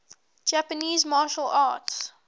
japanese martial arts